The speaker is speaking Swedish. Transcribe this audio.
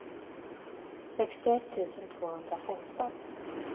sextioett tusen tvåhundrafemton